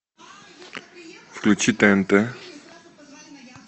включи тнт